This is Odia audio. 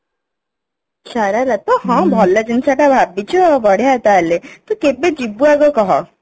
ଶରାରା ତ ହଁ ଭଲ ଜିନିଷ ତ ଭାବିଛୁ ବଢିଆ ତାହେଲେ ତୁ କେବେ ଆଗ ଯିବୁ କହ